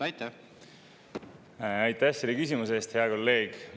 Aitäh selle küsimuse eest, hea kolleeg!